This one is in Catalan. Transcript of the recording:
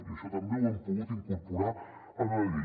i això també ho hem pogut incorporar a la llei